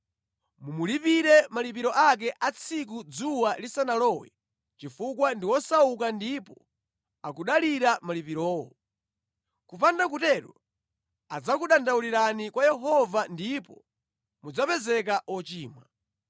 Mumulipire malipiro ake a tsiku dzuwa lisanalowe chifukwa ndi wosauka ndipo akudalira malipirowo. Kupanda kutero adzakudandaulirani kwa Yehova ndipo mudzapezeka ochimwa.